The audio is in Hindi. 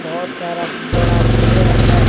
बहोत सारा बड़ा पेड़ है।